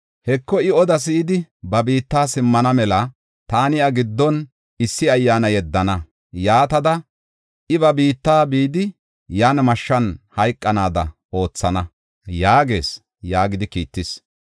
Heko, I oda si7idi, ba biitta simmana mela, taani iya giddon issi ayyaana yeddana. Yaatada I ba biitta bidi yan mashshan hayqanaada oothana’ yaagees” yaagidi kiittis.